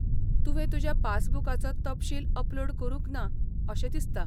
तुवें तुज्या पासबुकाचो तपशील अपलोड करूंक ना अशें दिसता.